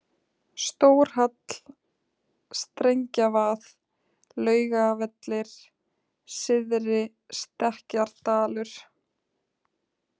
Stórhall, Strengjavað, Laugavellir, Syðri-Stekkjardalur